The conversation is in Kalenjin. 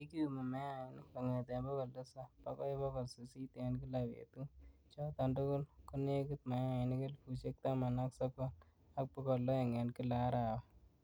Kikiyumi mayainik kongeten bogol Tisap bokoi bogol sisit en kila betut, choton tugul konekit mayainik elfusiek taman ak sogol, ak bogol oeng en kila arawa.